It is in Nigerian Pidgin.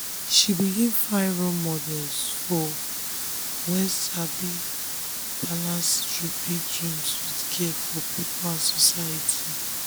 she begin find role models wey sabi balance big dreams with care for people and society.